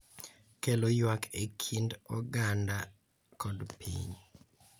Kelo ywak e kind oganda kod piny.